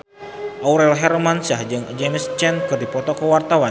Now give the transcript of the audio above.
Aurel Hermansyah jeung James Caan keur dipoto ku wartawan